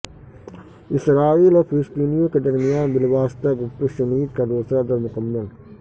اسرائیل اور فلسطینیوں کے درمیان بالواسطہ گفت و شنید کا دوسرا دور مکمل